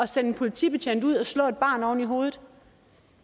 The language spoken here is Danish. sende en politibetjent ud og slå et barn oven i hovedet